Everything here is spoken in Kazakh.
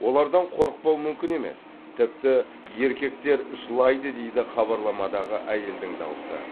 олардан қорықпау мүмкін емес тіпті еркектер жылайды дейді хабарламадағы әйелдің даусы